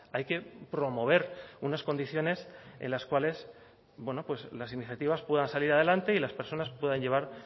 hay que promover unas condiciones en las cuales las iniciativas puedan salir adelante y las personas puedan llevar